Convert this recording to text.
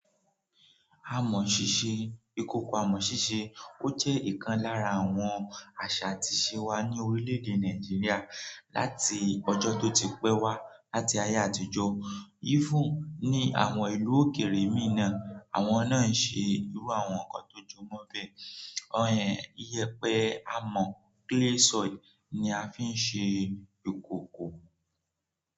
Àmọ̀ ṣíṣe, ìkòkò àmọ̀ ṣíṣe, ó jẹ́ ìkan lára àwọn àṣà àti ìṣe wa ní orílẹ̀èdè Nàìjíríà láti ọjọ́ tó ti pẹ́ wá láti ayé àtijọ́. Yí fún ní àwọn ìlú òkèèrè mìí náà, àwọn náà ń ṣe irú àwọn nǹkan tó jọmọ́ bẹ́ẹ̀. Ìyẹ́pẹ àmọ̀ clay soil ni a fi ń ṣe ìkòkò.